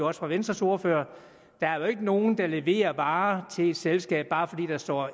også fra venstres ordfører at der jo ikke er nogen der leverer varer til et selskab bare fordi der står